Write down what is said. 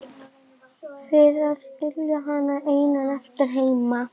Fyrir að skilja hann einan eftir heima.